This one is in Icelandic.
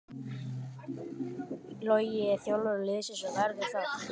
Logi er þjálfari liðsins og verður það.